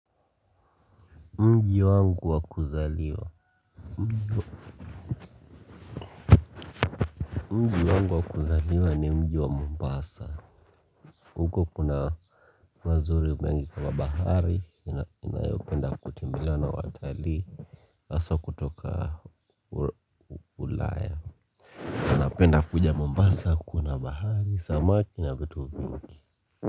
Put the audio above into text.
Mji wangu wa kuzaliwa. Mji wangu wa kuzaliwa ni mji wa mombasa huko kuna mazuri mengi kama bahari ninayopenda kutembelewa na watalii haswa kutoka ulaya wanapenda kuja mombasa kuona bahari, samaki na vitu vingi.